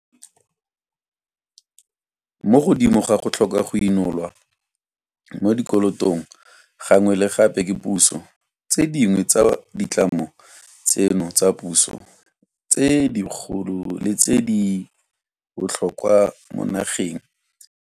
Mo godimo ga go tlhoka go inolwa mo dikolotong gangwe le gape ke puso, tse dingwe tsa ditlamo tseno tsa puso tse dikgolo le tse di botlhokwa mo nageng di ntse di goga boima mo go diragatseng maikarabelo a tsona.